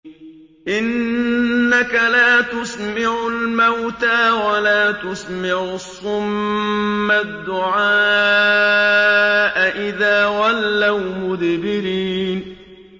إِنَّكَ لَا تُسْمِعُ الْمَوْتَىٰ وَلَا تُسْمِعُ الصُّمَّ الدُّعَاءَ إِذَا وَلَّوْا مُدْبِرِينَ